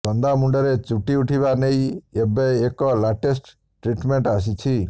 ଚନ୍ଦା ମୁଣ୍ଡରେ ଚୁଟି ଉଠିବା ନେଇ ଏବେ ଏକ ଲାଟେଷ୍ଟ ଟ୍ରିଟ୍ମେଣ୍ଟ ଆସିଛି